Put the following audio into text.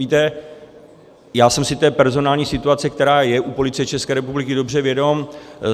Víte, já jsem si té personální situace, která je u Policie České republiky, dobře vědom.